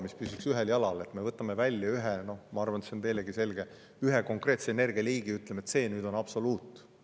me välja ühe – noh, ma arvan, et see on teilegi selge – konkreetse energialiigi ja ütleme, et see on absoluut.